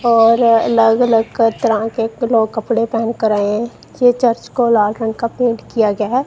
और अलग-अलग तरह के लोग कपड़े पहन के आए है। यह चर्च को लाल रंग का पेंट किया गया है।